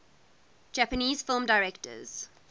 japanese film directors